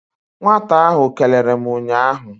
Nwata ahụ kelere m ụnyaahụ.